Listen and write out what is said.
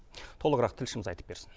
толығырақ тілшіміз айтып берсін